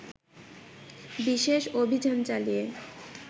বিশেষ অভিযান চালিয়ে